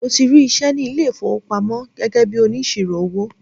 Mo ti rí iṣẹ́ ní ilé ìfowópamọ́ gẹ́gẹ́ bíi onísirò owó.